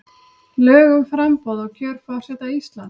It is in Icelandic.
Lög um framboð og kjör forseta Íslands.